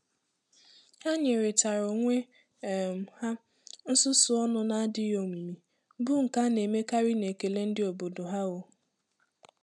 Ha nyèrè tara onwe um ha nsusu ọnụ na-adịghị omimi, bụ́ nke a na-emekarị n'ekele ndị obodo ha. um